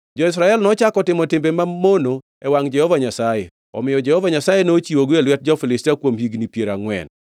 Jo-Israel nochako otimo timbe mamono e wangʼ Jehova Nyasaye, omiyo Jehova Nyasaye nochiwogi e lwet jo-Filistia kuom higni piero angʼwen.